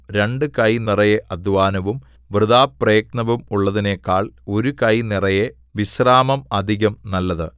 രണ്ടു കൈ നിറയെ അദ്ധ്വാനവും വൃഥാപ്രയത്നവും ഉള്ളതിനേക്കാൾ ഒരു കൈ നിറയെ വിശ്രാമം അധികം നല്ലത്